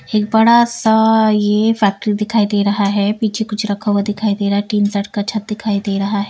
एक बड़ा सा यह फैक्ट्री दिखाई दे रहा है पीछे कुछ रखा हुआ दिखाई दे रहा है टीन शेड छत दिखाई दे रहा है।